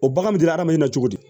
O bagan bɛ diya hadamaden na cogo di